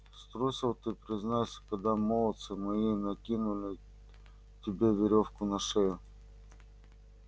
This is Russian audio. струсил ты признайся когда молодцы мои накинули тебе верёвку на шею